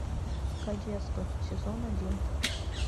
кадетство сезон один